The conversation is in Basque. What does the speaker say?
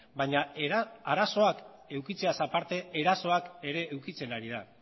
baina arazoak edukitzeaz aparte erasoak ere edukitzen ari da